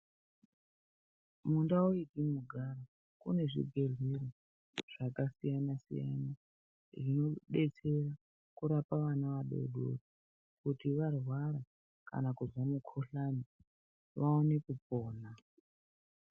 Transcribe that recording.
Mundau yetinogara kune zvibhedhleya zvakasiyana siyana zvinodetsera kurapa vana vadodori kuti kana vahlarwa kana kuzwa mukuhlani vaone kupona.